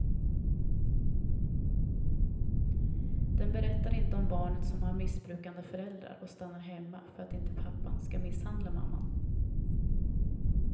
Den berättar inte om barnet som har missbrukande föräldrar och stannar hemma för att inte pappan ska misshandla mamman.